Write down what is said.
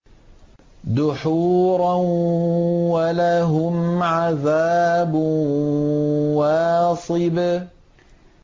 دُحُورًا ۖ وَلَهُمْ عَذَابٌ وَاصِبٌ